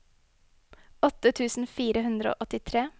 åtte tusen fire hundre og åttitre